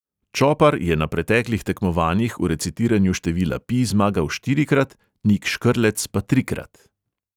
Čopar je na preteklih tekmovanjih v recitiranju števila pi zmagal štirikrat, nik škrlec pa trikrat.